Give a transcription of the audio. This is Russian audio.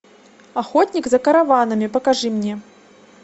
охотник за караванами покажи мне